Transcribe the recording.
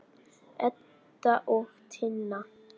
Edda og Tinna.